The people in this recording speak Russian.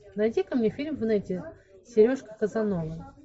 найди ка мне фильм в нете сережка казановы